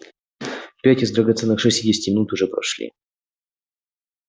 пять из драгоценных шестидесяти минут уже прошли